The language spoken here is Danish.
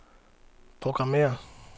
programmér